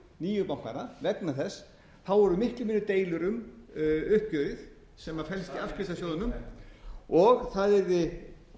nýju bankana vegna þess að það voru miklu meiri deilur um uppgjörið sem felst í afskriftasjóðunum það yrði